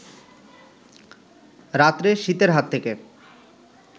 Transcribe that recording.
রাত্রে শীতের হাত থেকে